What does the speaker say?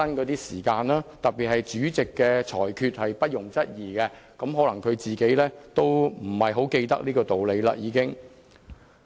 然而，主席的裁決是不容質疑的，可能他已不太記得這個道理了。